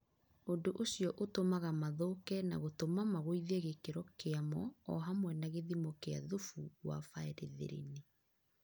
ũndũ ũcio ũtũmaga mathũke na gũtũma magũithie gĩkĩro kĩamo o hamwe na gĩthimo kĩa thubu wa baerethirini..